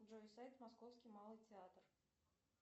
джой сайт московский малый театр